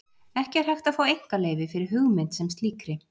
Ekki er hægt að fá einkaleyfi fyrir hugmynd sem slíkri.